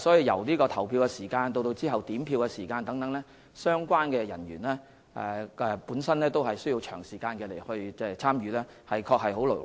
由投票時間開始直到點票時間結束，相關人員需要長時間參與，的確很勞累。